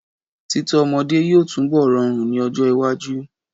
Títọ́ ọmọdé yóò túnbọ̀ rọrùn ní ọjọ́ iwájú.